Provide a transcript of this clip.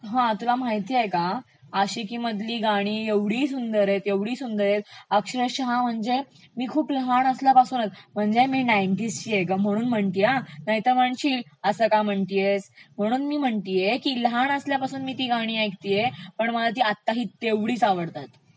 हा तुला माहितेय का, आशिकी मधली गाणी एवढी सुंदर आहेत, एवढी सुंदर आहेत अक्षरशः म्हणजे मी खूप लहान असल्यापासून म्हणजे मी नाइन्टीज ची आहे ग म्हणून असं म्हणतेय नाहीतर तुला वाटेल असं का म्हणतेयस म्हणून मी म्हणतेय लहानपणापासून मी ती गाणी ऐकतेय पण मला ती आत्ता ही तेवढीचं आवडतात.